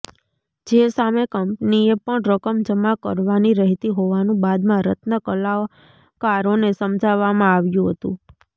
જે સામે કંપનીએ પણ રકમ જમા કરવાની રહેતી હોવાનું બાદમાં રત્નકલાકારોને સમજાવવામાં આવ્યું હતું